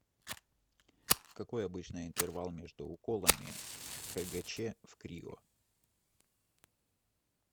какой обычно интервал между уколами хгч в крио